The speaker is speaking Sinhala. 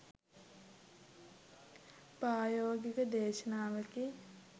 ප්‍රායෝගික දේශනාවකි